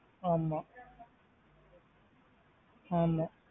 ஆமா ஆமா.